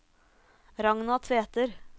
Ragna Tveter